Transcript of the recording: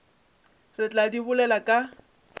re tla di bolela ka